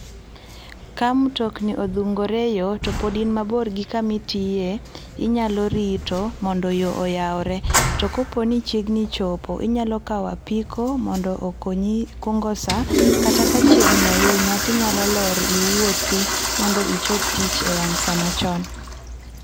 ka mtokni odhungore e yo to pod in mabor gi kumitiye, inyalo rito mondo yo oyawre. To kopo nichiegni chopo inyalo kawo apiko mondo okonyi kungo saa. Kata ka chiegni ahinya tinyalo lor iwuothi mondo ichop tich e wang' saa machon.